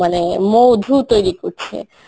মানে মধু তৈরী করছে.